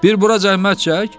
Bir bura zəhmət çək.